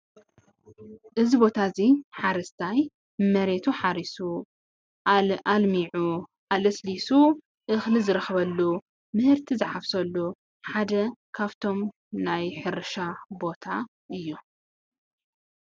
እዚ ቦታ እዙይ ሓረስታይ መሬቱ ሓሪሱ ኣልሚዑ፣ ኣለሳሊሱ እክሊ ዝረክበሉ ምህርቲ ዝሓፍሰሉ ሓደ ካብቶም ናይ ሕርሻ ቦታ እዩ።